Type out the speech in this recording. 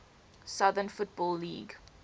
southern football league